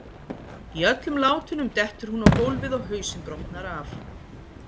Í öllum látunum dettur hún á gólfið og hausinn brotnar af.